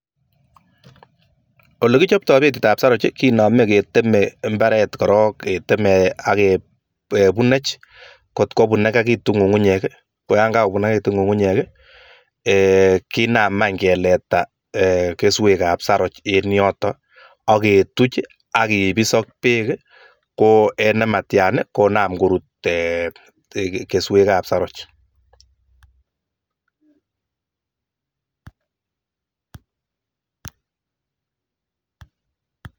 Olekipchoptoi ketitan saroch kiname keteme imbaret korok , keteme ak kebunech kotkobununuketuk ng'ung'unyek , koyan kakobuneketu ngungunyek, kinam any keeleita keswekab saroch en yoto ak ketuch ak kepiis ak beek, ee konematya konam korut keswekab saroch.